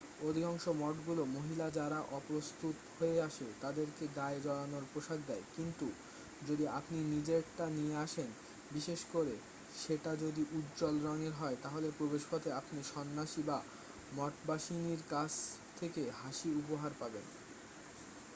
অধিকাংশ মঠগুলো মহিলা যারা অপ্রস্তুত হয়ে আসে তাদেরকে গায়ে জড়ানোর পোশাক দেয় কিন্তু যদি আপনি নিজেরটা নিয়ে আসেন বিশেষ করে সেটা যদি উজ্জ্বল রঙের হয় তাহলে প্রবেশপথে আপনি সন্নাসী বা মঠবাসিনীর কাছ থেকে হাসি উপহার পাবেন